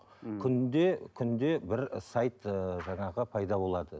ммм күнде күнде бір сайт ыыы жаңағы пайда болады